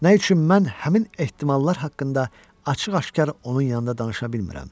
Nə üçün mən həmin ehtimallar haqqında açıq-aşkar onun yanında danışa bilmirəm?